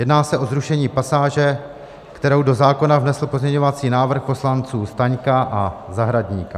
Jedná se o zrušení pasáže, kterou do zákona vnesl pozměňovací návrh poslanců Staňka a Zahradníka.